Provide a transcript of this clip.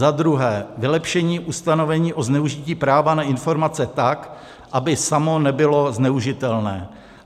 za druhé, vylepšení ustanovení o zneužití práva na informace tak, aby samo nebylo zneužitelné;